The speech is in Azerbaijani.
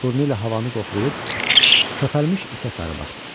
Burnu ilə havanı qoxlayıb köpərmiş itə sarı baxdı.